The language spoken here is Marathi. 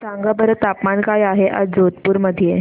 सांगा बरं तापमान काय आहे आज जोधपुर चे